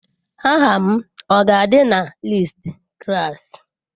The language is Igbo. Aha m ọ ga-adị na listi klaasị?